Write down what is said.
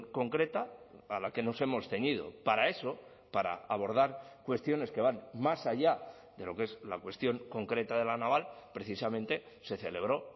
concreta a la que nos hemos ceñido para eso para abordar cuestiones que van más allá de lo que es la cuestión concreta de la naval precisamente se celebró